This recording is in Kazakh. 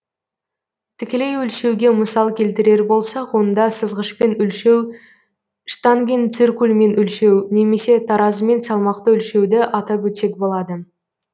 тікелей өлшеуге мысал келтірер болсақ онда сызғышпен өлшеу штангенциркульмен өлшеу немесе таразымен салмақты өлшеуді атап өтсек болады